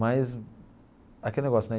Mas aquele negócio, né?